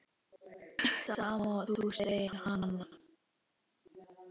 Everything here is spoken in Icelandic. Sama og þú, segir hann.